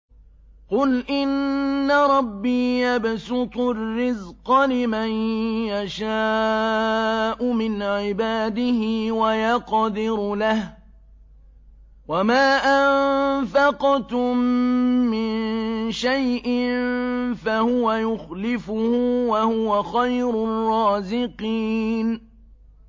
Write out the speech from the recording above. قُلْ إِنَّ رَبِّي يَبْسُطُ الرِّزْقَ لِمَن يَشَاءُ مِنْ عِبَادِهِ وَيَقْدِرُ لَهُ ۚ وَمَا أَنفَقْتُم مِّن شَيْءٍ فَهُوَ يُخْلِفُهُ ۖ وَهُوَ خَيْرُ الرَّازِقِينَ